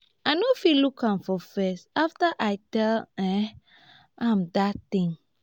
i no fit look am for face after i tell um am dat thing